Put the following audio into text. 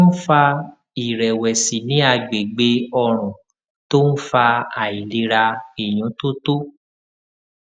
kí ló máa ń fa ìrèwèsì ní àgbègbè ọrùn tó ń fa àìlera ìyúntótó